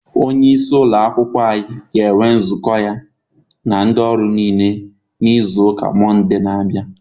Onye isi ụlọ akwụkwọ anyị ga-enwe nzukọ ya na ndị ọrụ niile na izu ụka Mọnde na-abịa.